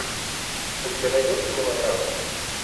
у тебя найдется мелодрама